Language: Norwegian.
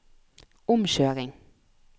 omkjøring